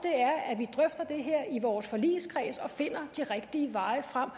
er det her i vores forligskreds og finder den rigtige vej frem